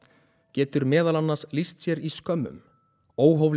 getur meðal annars lýst sér í skömmum óhóflegri